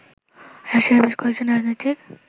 রাশিয়ার বেশ কয়েকজন রাজনীতিক